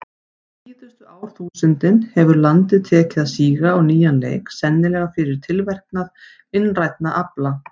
Síðustu árþúsundin hefur landið tekið að síga á nýjan leik, sennilega fyrir tilverknað innrænna afla.